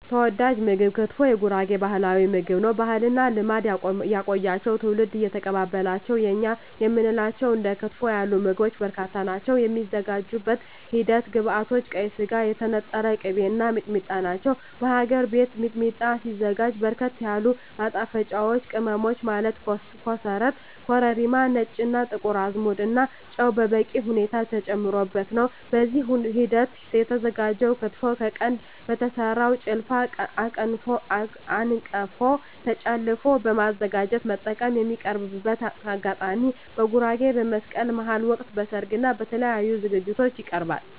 ተወዳጅ ምግብ ክትፎ የጉራጌ ባህላዊ ምግብ ነው። ባህልና ልማድ ያቆያቸው ትውልድ እየተቀባበላቸው የእኛ የምንላቸው እንደ ክትፎ ያሉ ምግቦች በርካታ ናቸው። የሚዘጋጅበት ሂደት ግብዐቶች ቀይ ስጋ, የተነጠረ ቅቤ , እና ሚጥሚጣ ናቸው። በሀገር ቤት ሚጥሚጣ ሲዘጋጅ በርከት ያሉ ማጣፈጫወች ቅመሞች ማለት ኮሰረት , ኮረሪማ , ነጭ እና ጥቁር አዝሙድ እና ጨው በበቂ ሁኔታ ተጨምሮበት ነው። በዚህ ሂደት የተዘጋጀው ክትፎ ከቀንድ በተሰራው ጭልፋ/አንቀፎ ጨለፎ በማዘጋጀት መጠቀም። የሚቀርብበት አጋጣሚ በጉራጌ በመስቀል በሀል ወቅት, በሰርግ እና በተለያዪ ዝግጅቶች ይቀርባል።።